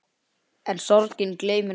En sorgin gleymir engum.